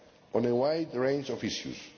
stand on a wide range of issues.